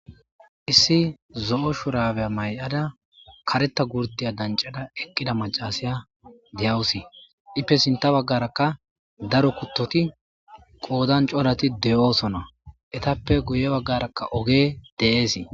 Issi zo7o shuraabiya maay7ada kareththa gurddiya danccada eqqida maccaasiya de7awusi; ippe sinththa baggaarakka daro kuththithi qoodan corathi de7oosona; ethappe guyye baggaarakka ogee de7eesi.